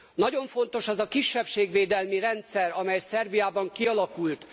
Nagyon fontos az a kisebbségvédelmi rendszer, amely Szerbiában kialakult.